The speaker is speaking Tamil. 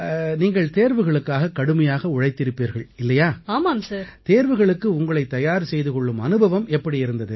நீங்கள் தேர்வுகளுக்காக கடுமையாக உழைத்திருப்பீர்கள் இல்லையா தேர்வுகளுக்கு உங்களைத் தயார் செய்து கொள்ளும் அனுபவம் எப்படி இருந்தது